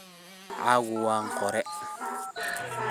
Magacaku wanqore.